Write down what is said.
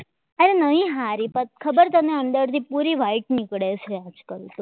હારી ખબર તને અંદરથી પૂરી white નીકળે છે આજકાલ તો પહેલા જેવી કંઈ મજા નહીં આવતી યાર